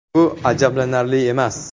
Bu ajablanarli emas.